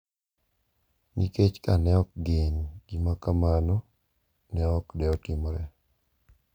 Nikech ka ne ok gin, gima kamano ne ok de otimore.